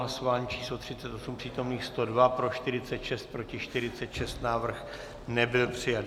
Hlasování číslo 38, přítomných 102, pro 46, proti 46, návrh nebyl přijat.